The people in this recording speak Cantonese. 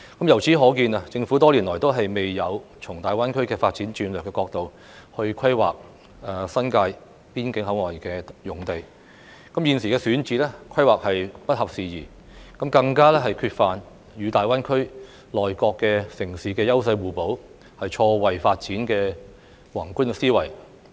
由此可見，政府多年來都未有從大灣區發展戰略的角度來規劃新界邊境口岸用地，現時選址、規劃都不合時宜，更缺乏與大灣區內各城市優勢互補、錯位發展的宏觀思維。